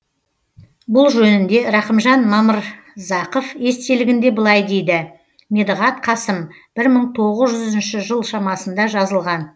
бұл жөнінде рахымжан мамырзақов естелігінде былай дейді медіғат қасым бір мың тоғыз жүзінші жыл шамасында жазылған